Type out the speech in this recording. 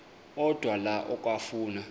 odwa la okafuna